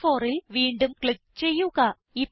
B4ൽ വീണ്ടും ക്ലിക്ക് ചെയ്യുക